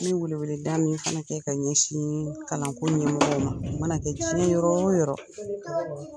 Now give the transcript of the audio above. N bɛ wele wele da min fana kɛ ka ɲɛsin kamakole ɲɛmɔgɔw ma, u mana kɛ diɲɛ yɔrɔ o yɔrɔ